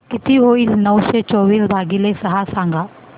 किती होईल नऊशे चोवीस भागीले सहा सांगा